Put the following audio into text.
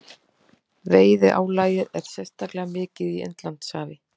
Veiðiálagið er sérstaklega mikið í Indlandshafi.